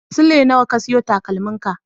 Sule nawa ka siyo takalmin ka?